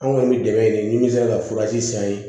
Anw kɔni bɛ dɛmɛ ɲini ni min sera ka furaji san yen